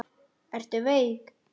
Ertu veik?